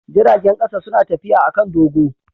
Jiragen kasa suna tafiya a kan dogo.